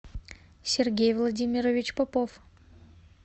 сергей владимирович попов